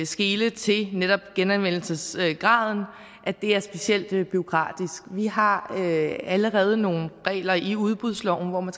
skele til netop genanvendelsesgraden er specielt bureaukratisk vi har allerede nogle regler i udbudsloven hvor man